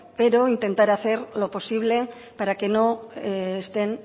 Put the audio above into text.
pero intentaré hacer lo posible para que no estén